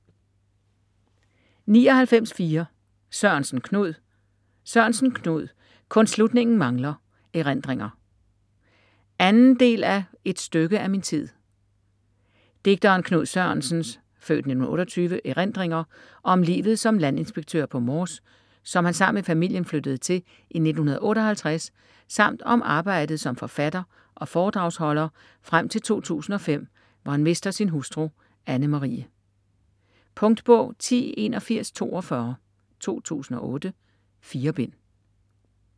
99.4 Sørensen, Knud Sørensen, Knud: Kun slutningen mangler: erindringer 2. del af Et stykke af min tid. Digteren Knud Sørensens (f. 1928) erindringer om livet som landinspektør på Mors, som han sammen med familien flyttede til i 1958, samt om arbejdet som forfatter og foredragsholder frem til 2005, hvor han mister sin hustru Anne Marie. Punktbog 108142 2008. 4 bind.